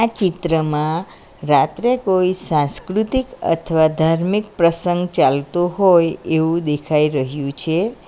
ચિત્રમાં રાત્રે કોઈ સાંસ્કૃતિક અથવા ધાર્મિક પ્રસંગ ચાલતો હોય એવું દેખાઈ રહ્યું છે.